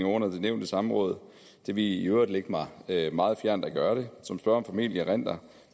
under det nævnte samråd det ville i øvrigt ligge mig meget fjernt at gøre det som spørgeren formentlig erindrer